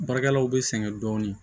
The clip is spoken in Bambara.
Baarakɛlaw bɛ sɛgɛn dɔɔnin